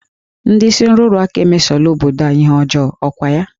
Ndị isi nrụrụ aka emesola obodo a ihe ọjọọ, ọ kwa ya?